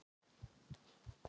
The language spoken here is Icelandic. Hann kann að meta það.